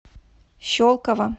щелково